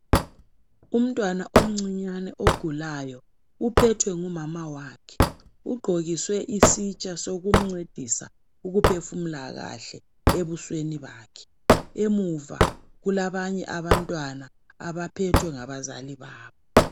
umntwana omncinyane ogulayo uphethwe ngumama wakhe ugqokiswe isitsha sokumncedisa ukuphfumula kahle ebusweni bakhe emuva kulabanye abantwana abaphethwe ngabazali babo